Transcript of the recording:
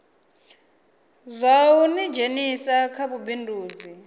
zwa u ḓidzhenisa kha vhubindudzi